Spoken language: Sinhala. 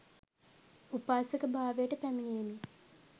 උපාසක භාවයට පැමිණියෙමි.